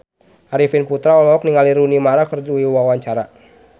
Arifin Putra olohok ningali Rooney Mara keur diwawancara